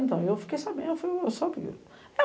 Eu falei, eu fiquei sabendo, eu soube.